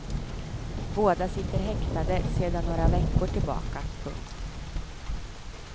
Båda sitter häktade sedan några veckor tillbaka. punkt